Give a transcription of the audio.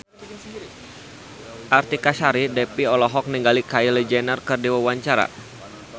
Artika Sari Devi olohok ningali Kylie Jenner keur diwawancara